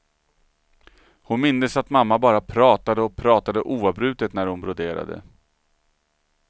Hon mindes att mamma bara pratade och pratade oavbrutet när hon broderade.